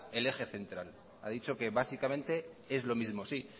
el eje central ha dicho que básicamente es lo mismo sí